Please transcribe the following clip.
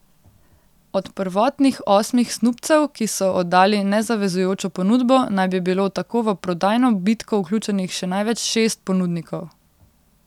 Od prvotnih osmih snubcev, ki so oddali nezavezujočo ponudbo, naj bi bilo tako v prodajno bitko vključenih še največ šest ponudnikov.